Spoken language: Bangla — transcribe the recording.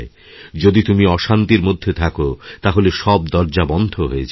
যদি তুমি অশান্তির মধ্যে থাকো তাহলে সব দরজা বন্ধ হয়ে যায়